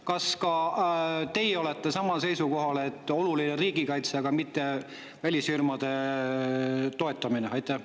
Kas ka teie olete samal seisukohal, et oluline on riigikaitse, mitte välisfirmade toetamine?